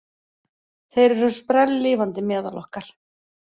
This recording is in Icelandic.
Þeir eru sprelllifandi meðal okkar